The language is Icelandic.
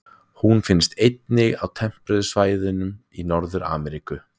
Hún finnst einnig á tempruðum svæðum Norður-Ameríku.